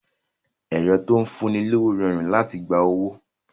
Ẹ̀rọ tó ń fún ni lówó rọrùn láti gba owó